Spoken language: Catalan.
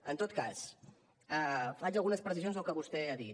en tot cas faig algunes precisions al que vostè ha dit